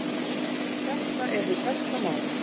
Þetta er hið besta mál.